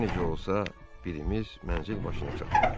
Hər necə olsa, birimiz mənzil başına çatmalıyıq.